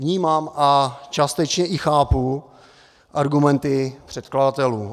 Vnímám a částečně i chápu argumenty předkladatelů.